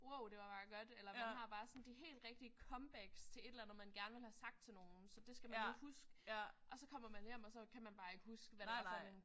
Wow det var bare godt eller man har bare sådan de helt rigtige comebacks til et eller andet man gerne ville have sagt til en eller anden så det skal man nu huske og så kommer man hjem og så kan man bare ikke huske hvad det var for nogen